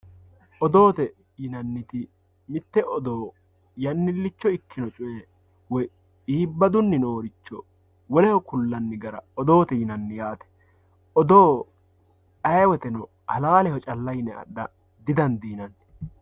Odoote yinaniti mite odoo yanilicho ikkino coye woyi ibbadunni nooricho woleho kulani gara odoote yinanni yaate, odoo aye woyitrno halalleho calla yine adha di, dandinanni